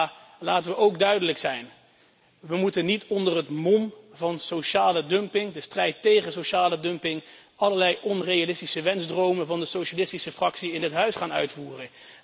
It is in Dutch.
Maar laten we ook duidelijk zijn We moeten niet onder het mom van de strijd tegen sociale dumping allerlei onrealistische wensdromen van de socialistische fractie in dit huis gaan uitvoeren.